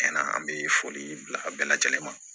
Cɛn na an bɛ foli bila a bɛɛ lajɛlen ma